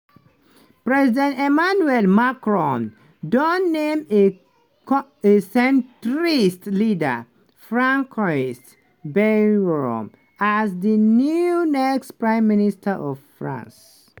president emmanuel macron don name a centrist leader françois bayrou as di new next prime minister of france.